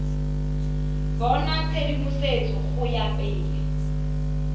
bona tshedimosetso go ya pele